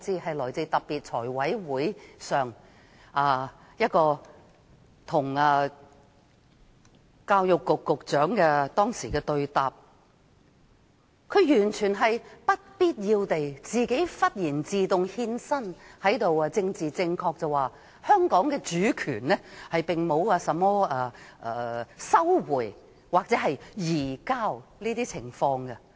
在財務委員會會議上，教育局局長與議員對答時，完全不必要地突然自動獻身，政治正確地指香港的主權並沒有甚麼收回或移交的情況。